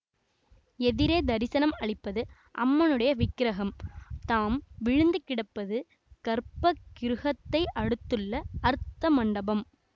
எதிரே தரிசனம் அளிப்பது அம்மனுடைய விக்கிரகம் தாம் விழுந்து கிடப்பது கர்ப்ப கிருஹத்தை அடுத்துள்ள அர்த்த மண்டபம்